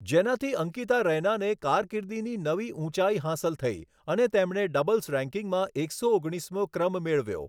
જેનાથી અંકિતા રૈનાને કારકિર્દીની નવી ઊંચાઈ હાંસલ થઈ અને તેમણે ડબલ્સ રેન્કિંગમાં એકસો ઓગણીસમો ક્રમ મેળવ્યો.